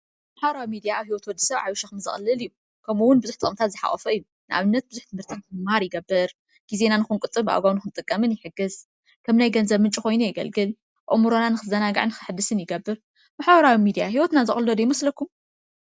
ማሕበራዊ ሚድያ ኣብ ህይወት ወድሰብ ዓብዪ ሸኽሚ ዘቕልል እዩ፡፡ ከምኡውን ብዙሕ ጥቕምታት ዝሓቖፈ እዩ፡፡ ንኣብነት ብዙሕ ትምህርትታት ክንምሃር ይገብር፤ ጊዜና ክንቁጥብን ብኣግባቡ ክንጥቀምን ይሕግዝ፤ ከም ናይ ገንዘብ ምንጪ ኮይኑ የገልግል፤ ኣእሙሮና ንክዘናጋዕን ንክሕደስን ይገብር፡፡ ማሕበራዊ ሚድያ ህይወትና ዘቕልሎ ዶ ይመሰኩም?